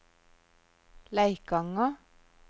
Leikanger